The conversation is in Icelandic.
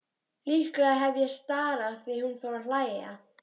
Líklega hef ég starað því hún fór að hlæja.